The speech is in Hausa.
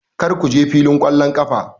Kar ku je filin ƙwallon ƙafa!